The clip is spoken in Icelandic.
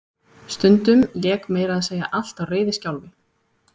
Stundum lék meira að segja allt á reiðiskjálfi.